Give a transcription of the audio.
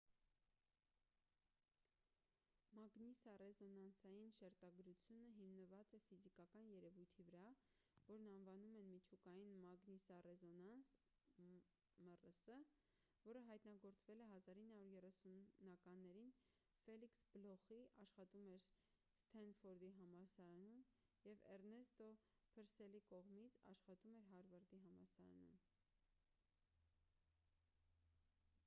մագնիսառեզոնանսային շերտագրությունը հիմնված է ֆիզիկական երևույթի վրա որն անվանում են միջուկային մագնիսառեզոնանս մռս որը հայտնագործվել է 1930-ականներին ֆելիքս բլոխի աշխատում էր սթենֆորդի համալսարանում և էռնեստ փըրսելի կողմից աշխատում էր հարվարդի համալսարանում: